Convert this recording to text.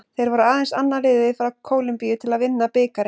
Þeir voru aðeins annað liðið frá Kólumbíu til að vinna bikarinn.